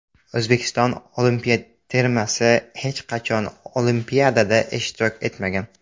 O‘zbekiston olimpiya termasi hech qachon Olimpiadada ishtirok etmagan.